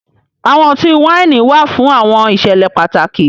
Awọn ọ̀tí-waini wà fún awọn ìṣẹ̀lẹ̀ pátàkì